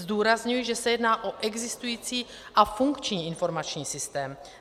Zdůrazňuji, že se jedná o existující a funkční informační systém.